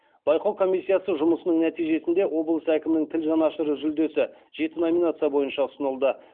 байқау комиссиясы жұмысының нәтижесінде облыс әкімінің тіл жанашыры жүлдесі жеті номинация бойынша ұсынылды